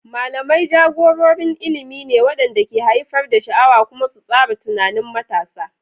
Malamai jagororin ilimi ne waɗanda ke haifar da sha'awa kuma su tsara tunanin matasa.